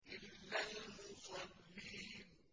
إِلَّا الْمُصَلِّينَ